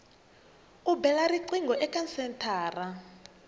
u bela riqingho eka senthara